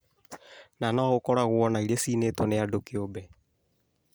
na no gũkoragwo na iria ciinĩtwo nĩ andũ kiũmbe